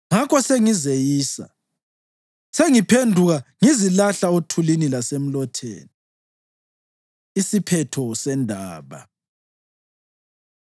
Ngakho sengizeyisa, sengiphenduka ngizilahla othulini lasemlotheni.” Isiphetho Sendaba